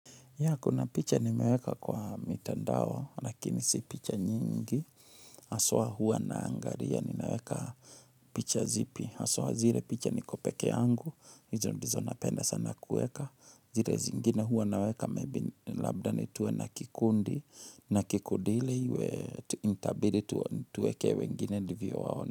Ya kuna picha nimeweka kwa mitandao lakini si picha nyingi haswa huwa naangalia nimeweka picha zipi haswa zile picha niko peke yangu hizo ndizo napenda sana kueka zile zingine huwa naweka labda ni tuwe na kikundi na kikundi ile iwe itabidi tuweke wengine ndivyo wao.